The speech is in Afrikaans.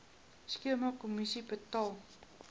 skema kommissie betaal